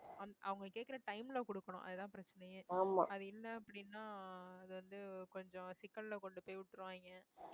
அவங்க கேட்கிற time ல கொடுக்கணும் அது தான் பிரச்சனையே அது இல்லை அப்படின்னா அது வந்து கொஞ்சம் சிக்கல்ல கொண்டு போய் விட்டுருவாங்க.